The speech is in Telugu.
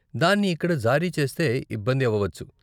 దాన్ని ఇక్కడ జారీ చేస్తే ఇబ్బంది అవ్వవచ్చు.